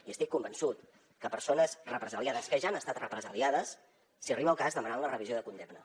i estic convençut que persones represaliades que ja han estat represaliades si arriba el cas demanaran la revisió de condemna